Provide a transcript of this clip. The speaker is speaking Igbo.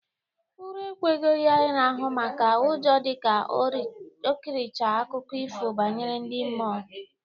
Ura ekwegho ya ịrahụ maka ụjọ dịka o kirichara akụkọ ifo banyere ndị mmụọ